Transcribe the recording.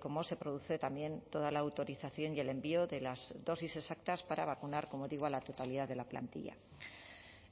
cómo se produce también toda la autorización y el envío de las dosis exactas para vacunar como digo a la totalidad de la plantilla